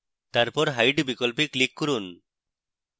তারপর hide বিকল্পে click করুন